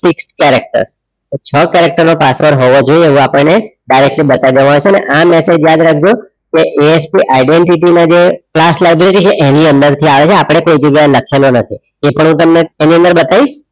six characters તો છો character નો પાસવર્ડ હોવો જોઈએ એવું આપણને directly બતાવી દેવામાં આવશે અને આ method યાદ રાખજો કે ASP identity ના જે ક્લાસ છે ક્લાસ library છે એની અંદર આયો છે આપણે કોઈ જગ્યાએ લખેલો નથી તે પણ હું તમને તેની અંદર બતાવીશ